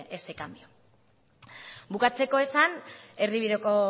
ese cambio bukatzeko esan erdibideko